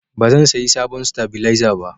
Ba zan sayi sabon stabilizer ba